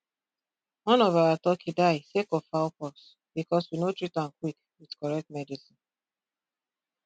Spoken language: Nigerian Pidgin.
one of our turkey die sake of fowl pox because we no treat um quick with correct medicine